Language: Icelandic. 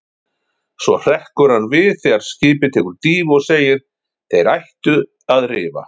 Svo hrekkur hann við þegar skipið tekur dýfu og segir: Þeir ættu að rifa.